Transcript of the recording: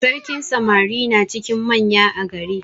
Sarkin samari na cikin manya a gari.